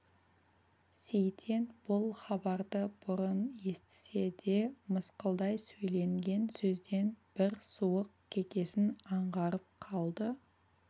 сейтен бұл хабарды бұрын естісе де мысқылдай сөйленген сөзден бір суық кекесін аңғарып қалды